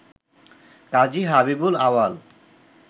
কাজী হাবিবুল আউয়াল